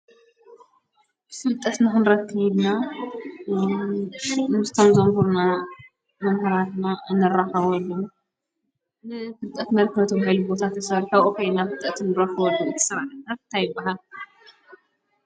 ፍልጠት ንክንረክብ ኢልና ብሹም ምስቶም ዘምህሩና መምህራንና እንራከበሉ ንፍልጠት መርከቢ ተባሂሉ ዝተሰርሑ አብኡ ከይድና ፍልጠት ንረኽበሉ ስራሕና እንታይ ይበሃል?